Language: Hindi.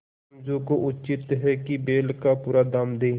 समझू को उचित है कि बैल का पूरा दाम दें